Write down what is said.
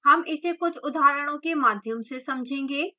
हम इसे कुछ उदाहरणों के माध्यम से समझेंगे